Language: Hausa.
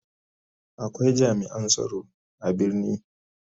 Akwai jami'an tsaro a birni.